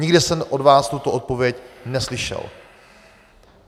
Nikde jsem od vás tuto odpověď neslyšel.